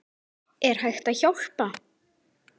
Er hægt að hjálpa?